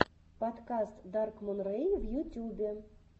подкаст даркмун рэй в ютюбе